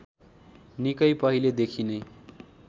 निकै पहिले देखिनै